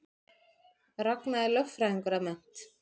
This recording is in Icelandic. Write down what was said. Ragna er lögfræðingur að mennt